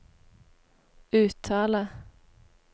uttale